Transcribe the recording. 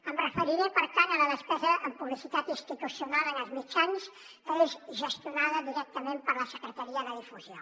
em referiré per tant a la despesa en publicitat institucional en els mitjans que és gestionada directament per la secretaria de difusió